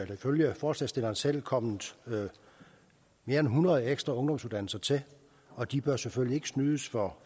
ifølge forslagsstillerne selv kommet mere end hundrede ekstra ungdomsuddannelser til og de bør selvfølgelig ikke snydes for